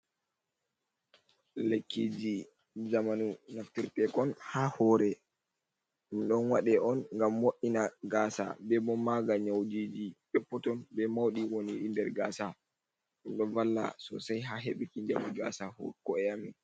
Lekkiji zamanu nafti tekon ha hore, ɗum ɗo waɗe on gam mo’ina gasa be bo maga nyaujiji pepputun be mauɗi woniɗi der gasa, ɗum ɗo valla sosai ha hebuki jamu gasa ko e amin.